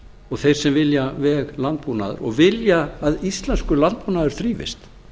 og þeir sem vilja veg landbúnaðar og vilja að íslenskur landbúnaður þrífist